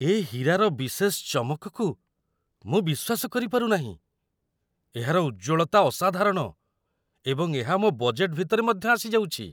ଏ ହୀରାର ବିଶେଷ ଚମକକୁ ମୁଁ ବିଶ୍ୱାସ କରିପାରୁ ନାହିଁ! ଏହାର ଉଜ୍ଜ୍ୱଳତା ଅସାଧାରଣ, ଏବଂ ଏହା ମୋ ବଜେଟ୍‌‌‌ ଭିତରେ ମଧ୍ୟ ଆସିଯାଉଛି।